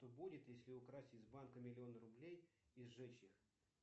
что будет если украсть из банка миллион рублей и сжечь их